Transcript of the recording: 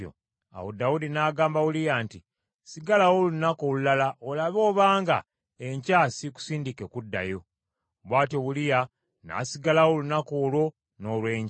Awo Dawudi n’agamba Uliya nti, “Sigalawo olunaku olulala olabe obanga enkya siikusindike kuddayo.” Bwatyo Uliya n’asigalawo olunaku olwo n’olw’enkya.